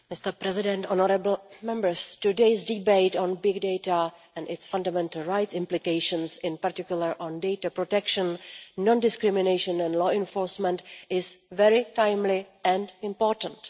Mr President, honourable Members, today's debate on big data and its fundamental rights implications, in particular on data protection, non discrimination and law enforcement is very timely and important.